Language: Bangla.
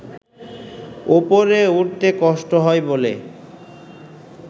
ওপরে উঠতে কষ্ট হয় বলে